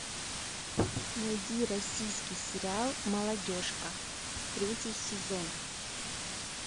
найди российский сериал молодежка третий сезон